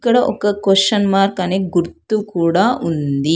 ఇక్కడ ఒక question mark అని గుర్తు కూడా ఉంది.